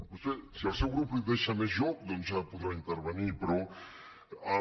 potser si el seu grup li deixa més joc doncs ja podrà intervenir però el